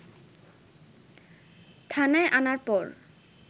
থানায় আনার পর